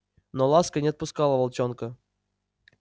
но ласка не отпускала волчонка